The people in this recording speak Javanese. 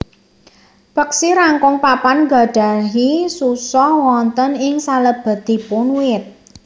Peksi rangkong papan nggadhahi susoh wonten ing salebetipun wit